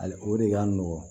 Ale o de ka nɔgɔn